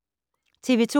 TV 2